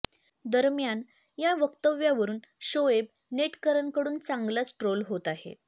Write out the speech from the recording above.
दरम्यान या वक्तव्यावरुन शोएब नेटकऱ्यांकडून चांगलाच ट्रोल होत आहे